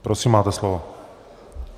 Prosím, máte slovo.